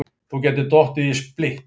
Þú gætir dottið í splitt.